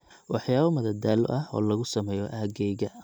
waxyaabo madadaalo ah oo lagu sameeyo aaggayga